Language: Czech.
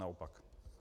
Naopak.